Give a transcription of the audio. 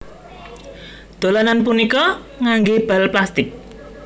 Dolanan punika nganggé bal plastik